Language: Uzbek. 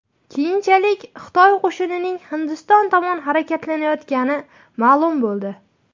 Keyinchalik Xitoy qo‘shinining Hindiston tomon harakatlanayotgani ma’lum bo‘ldi .